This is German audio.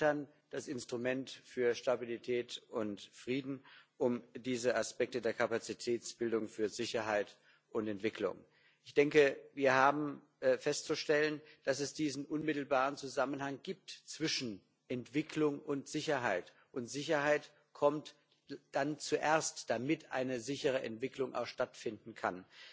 Wir erweitern das Instrument für Stabilität und Frieden um diese Aspekte der Kapazitätsbildung für Sicherheit und Entwicklung. Wir haben festzustellen, dass es diesen unmittelbaren Zusammenhang zwischen Entwicklung und Sicherheit gibt, und Sicherheit kommt dann zuerst, damit eine sichere Entwicklung auch stattfinden kann.